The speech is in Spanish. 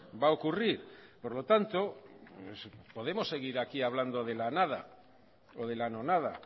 va a ocurrir por lo tanto podemos seguir aquí hablando de la nada o de la no nada